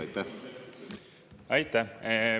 Aitäh!